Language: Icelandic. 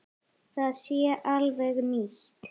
Það sé alveg nýtt.